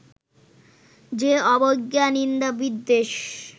যে অবজ্ঞা-নিন্দা-বিদ্বেষ